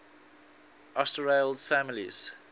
asterales families